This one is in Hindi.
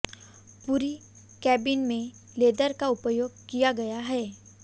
पूरी केबिन में लेदर का उपयोग किया गया है